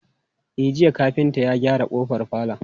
E, jiya kafinta ya gyara ƙofar falon.